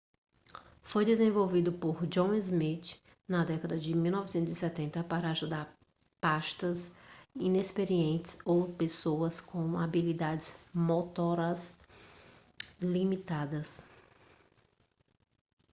foi desenvolvido por john smith na década de 1970 para ajudar pastas inexperientes ou pessoas com habilidades motoras limitadas